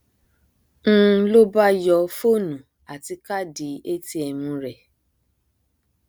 n ló bá yọ fóònù àti káàdì atm rẹ